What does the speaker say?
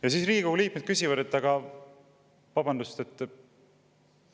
Ja siis Riigikogu liikmed küsivad: "Vabandust!